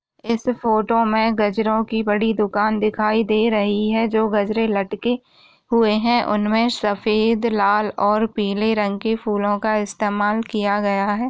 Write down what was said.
इस फोटो मे गजरों की बड़ी दुकान दिखाई दे रही है जो गजरे लटके हुए है उनमें सफेद लाल और पीले रंग के फूलों का इस्तेमाल किया गया है।